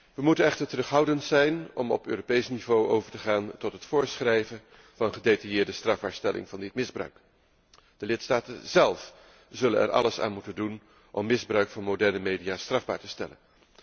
Wij moeten echter terughoudend zijn om op Europees niveau over te gaan tot het voorschrijven van gedetailleerde strafbaarstelling van dit misbruik. De lidstaten zélf zullen er alles aan moeten doen om misbruik van moderne media strafbaar te stellen.